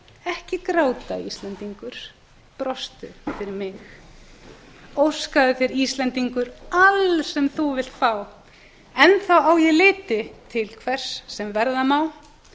ekki gráta íslendingur brostu fyrir mig óskaðu þér íslendingur alls sem þú vilt fá enn þá á ég liti til hvers sem verða má